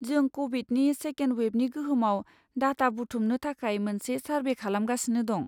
जों क'विडनि सेकेन्ड वेबनि गोहोमआव डाटा बुथुमनो थाखाय मोनसे सारभे खालामगासिनो दं।